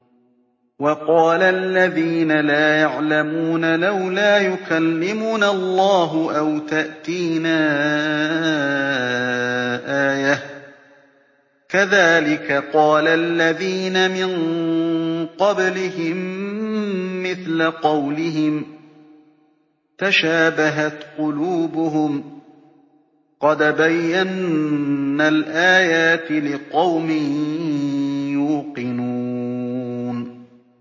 وَقَالَ الَّذِينَ لَا يَعْلَمُونَ لَوْلَا يُكَلِّمُنَا اللَّهُ أَوْ تَأْتِينَا آيَةٌ ۗ كَذَٰلِكَ قَالَ الَّذِينَ مِن قَبْلِهِم مِّثْلَ قَوْلِهِمْ ۘ تَشَابَهَتْ قُلُوبُهُمْ ۗ قَدْ بَيَّنَّا الْآيَاتِ لِقَوْمٍ يُوقِنُونَ